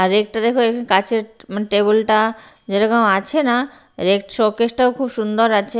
আর একটা দেখো এখানে কাঁচের টেবিল টা যেরকম আছে না আর শোকেসটাও খুব সুন্দর আছে।